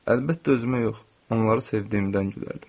Əlbəttə, özümə yox, onları sevdiyimdən gülərdim.